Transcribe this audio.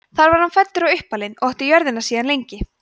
þar var hann fæddur og uppalinn og átti jörðina síðan lengi